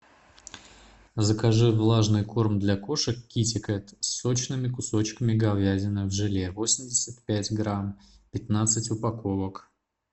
закажи влажный корм для кошек китикет с сочными кусочками говядины в желе восемьдесят пять грамм пятнадцать упаковок